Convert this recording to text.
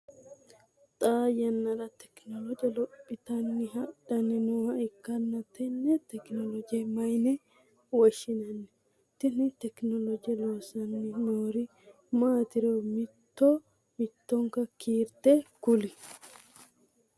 Xaa yanna tekinolooje lophitanni hadhanni nooha ikanna tenne tekinolooje mayinne woshinnanni? Tinni tekinolooje loosanni noori maatiri mitto mittonka kiirte kuli?